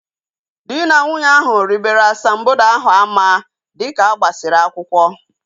Dị na nwunye ahu ribere asambodo ahu ama dịka agbasiri akwụkwọ